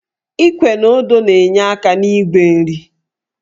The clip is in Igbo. Íkwè na ọ́dụ́ na-enye aka n'ígwè nri